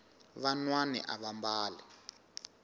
vanwani ava mbali